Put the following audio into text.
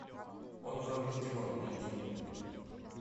он вам не димон найди